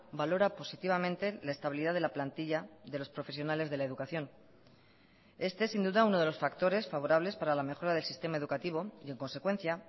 valora positivamente la estabilidad de la plantilla de los profesionales de la educación este es sin duda uno de los factores favorables para la mejora del sistema educativo y en consecuencia